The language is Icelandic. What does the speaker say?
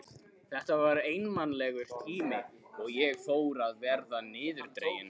Þetta var einmanalegur tími og ég fór að verða niðurdregin.